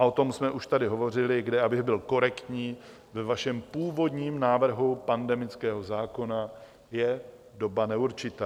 A o tom jsme už tady hovořili, kde, abych byl korektní, ve vašem původním návrhu pandemického zákona je doba neurčitá.